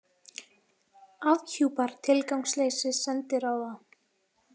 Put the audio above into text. Afhjúpar tilgangsleysi sendiráða